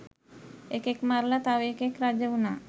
එකෙක් මරලා තව එකෙක් රජවුනා